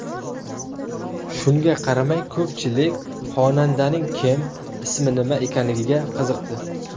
Shunga qaramay, ko‘pchilik xonandaning kim, ismi nima ekanligiga qiziqdi.